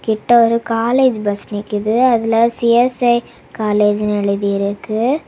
எட்ட ஒரு college bus நிக்குது அதுல சி_எஸ்_ஐ காலேஜ் இன்னு எழுதி இருக்கு.